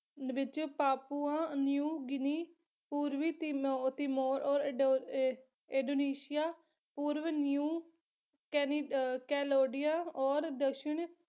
ਵਿੱਚ Papua, New Guinea, Indonesia ਪੂਰਵ New ਅਹ ਕੈਲੋੜੀਆ ਓਰ ਦਕਸਿੰਨ